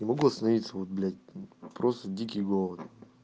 не могу остановиться вот блять просто дикий голод